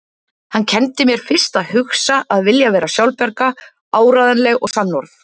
Hann kenndi mér fyrst að hugsa, að vilja vera sjálfbjarga, áreiðanleg og sannorð.